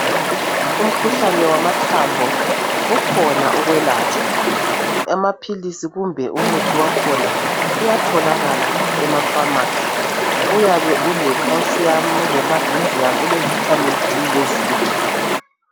Umkhuhlane wamathambo ukhona ukwelatshwa. Amaphilisi kumbe umuthi wakhona uyatholakala emafamasi. Uyabe ule calcium, ule magnesium ule vitamin D le zinc.